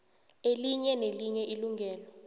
elinye nelinye ilungelo